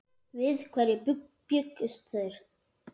Við hverju bjuggust þeir?